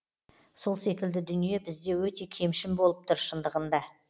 сол секілді дүние бізде өте кемшін болып тұр шындығында